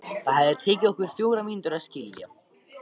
Það hefði tekið okkur fjórar mínútur að skilja.